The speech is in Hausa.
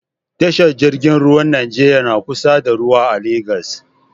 Tashar jingin ruwar nigeria na kusa da ruwa a lagos